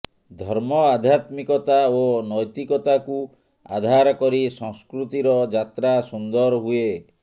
ଧର୍ମ ଆଧ୍ୟାତ୍ମିକତା ଓ ନୈତିକତାକୁ ଆଧାରକରି ସଂସ୍କୃତିର ଯାତ୍ରା ସୁନ୍ଦର ହୁଏ